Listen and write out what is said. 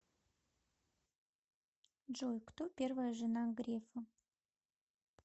джой кто первая жена грефа